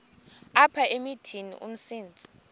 apha emithini umsintsi